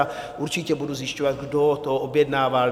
A určitě budu zjišťovat, kdo to objednával.